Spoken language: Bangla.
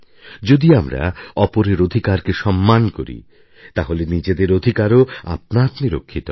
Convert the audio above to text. যদি আমরা অপরের অধিকারকে সম্মান করি তাহলে নিজেদের অধিকারও আপনা আপনি রক্ষিত হবে